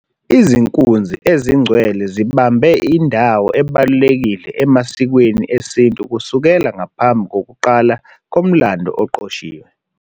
Izinkunzi ezingcwele zibambe indawo ebalulekile emasikweni esintu kusukela ngaphambi kokuqala komlando oqoshiwe.